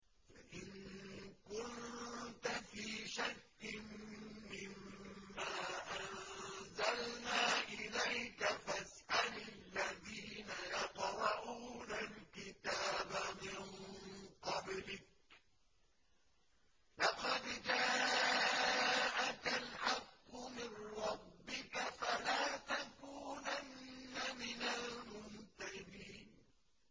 فَإِن كُنتَ فِي شَكٍّ مِّمَّا أَنزَلْنَا إِلَيْكَ فَاسْأَلِ الَّذِينَ يَقْرَءُونَ الْكِتَابَ مِن قَبْلِكَ ۚ لَقَدْ جَاءَكَ الْحَقُّ مِن رَّبِّكَ فَلَا تَكُونَنَّ مِنَ الْمُمْتَرِينَ